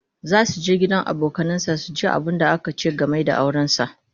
zasu je gidan da abokanansa su ji abunda aka ce game da auransa